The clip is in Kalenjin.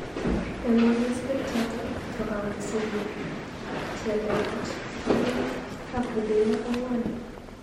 Eng walosbek chotok, ko kawal Sirik xhelelach anvwan ak rupeiywokik anvwan